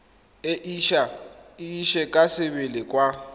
e ise ka sebele kwa